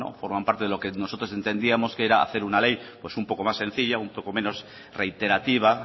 forman parte de lo que nosotros entendíamos que era hacer una ley pues un poco más sencilla un poco menos reiterativa